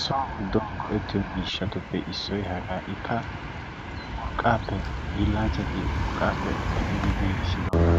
So giddon go'ettiyo miishshatuppe issoy hagaanikka urqqaappe hiillanchchati urqqaappe medhdhidi giiggissiddooga